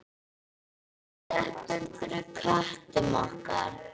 Klöppum fyrir köttum okkar!